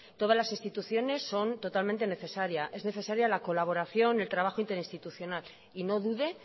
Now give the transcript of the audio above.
todas las instituciones son totalmente necesarias es necesaria la colaboración el trabajo interinstitucional y no dude